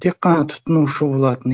тек қана тұтынушы болатын